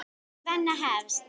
Svenna hefst.